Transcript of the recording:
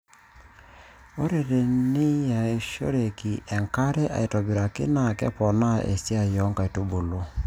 ore teniyasishoe enkare aitobiraki naa keponaa esiai oo nkaitubulu.